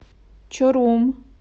чорум